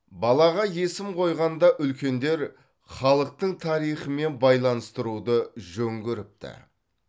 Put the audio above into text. балаға есім қойғанда үлкендер халықтың тарихымен байланыстыруды жөн көріпті